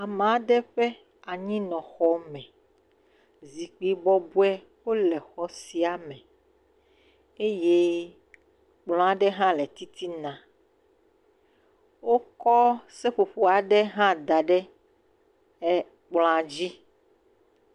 Ameaɖe ƒe anyinɔ xɔme, zikpui bɔbɔewo le xɔ siame eye kplɔ aɖe ha le titina. Wokɔ seƒoƒo aɖe ha daɖe ekplɔa dzi.